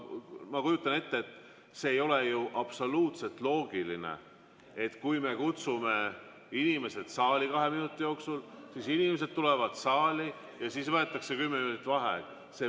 Ma kujutan ette, et see ei ole ju absoluutselt loogiline, et kui me kutsume inimesed kahe minuti jooksul saali, inimesed tulevad saali, aga siis võetakse kümme minutit vaheaega.